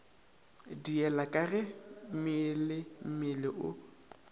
diela ka ge meelemmele o